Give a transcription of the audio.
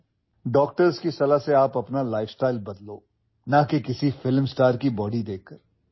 cinema তাৰকাৰ শৰীৰ দেখে নহয় চিকিৎসকৰ পৰামৰ্শ লৈ আপোনোলোকে আপোনালোকৰ জীৱনশৈলী সলনি কৰক